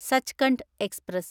Sachkhand express